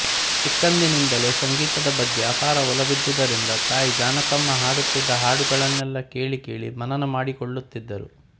ಚಿಕ್ಕಂದಿನಿಂದಲೇ ಸಂಗೀತದ ಬಗ್ಗೆ ಅಪಾರ ಒಲವಿದ್ದುದರಿಂದ ತಾಯಿ ಜಾನಕಮ್ಮ ಹಾಡುತ್ತಿದ್ದ ಹಾಡುಗಳನ್ನೆಲ್ಲಾ ಕೇಳಿ ಕೇಳಿ ಮನನ ಮಾಡಿಕೊಳ್ಳುತ್ತಿದ್ದರು